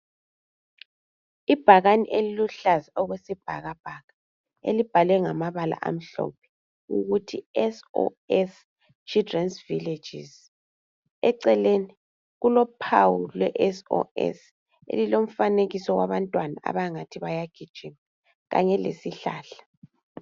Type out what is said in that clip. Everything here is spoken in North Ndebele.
Ibhakane eliluhlaza okwesibhakabhaka, elibhalwe ngamabala amhlophe ukuthi SOS Children’s Villages. Eceleni kulophawu lwe SOS elilomfanekiso wabantwana abangathi bayagijima kanye lesihlahla.